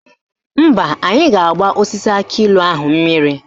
Mba, anyị ga-agba osisi akịilụ ahụ mmiri